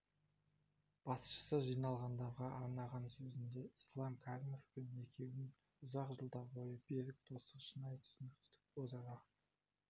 басшысы жиналғандарға арнаған сөзінде ислам каримовпен екеуін ұзақ жылдар бойы берік достық шынайы түсіністік өзара